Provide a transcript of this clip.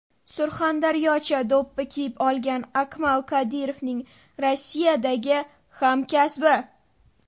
Surxondaryocha do‘ppi kiyib olgan Akmal Kadirovning Rossiyadagi hamkasbi.